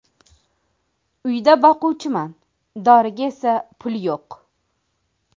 Uyda boquvchiman, doriga esa pul yo‘q.